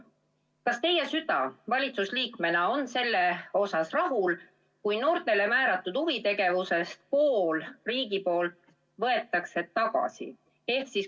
Kas teie süda valitsuse liikmena on sellega rahul, kui noortele määratud huvitegevuse võtab riik poole tagasi?